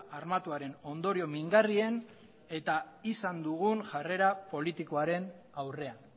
armatuaren ondorio mingarrien eta izan dugun jarrera politikoaren aurrean